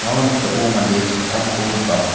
ia noksao mande sakgittamko nika.